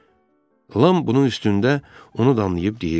Lam bunun üstündə onu danlayıb deyirdi.